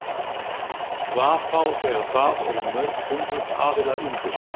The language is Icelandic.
Hvað þá þegar það eru mörg hundruð aðilar undir?